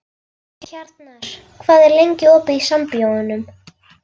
Hjarnar, hvað er lengi opið í Sambíóunum?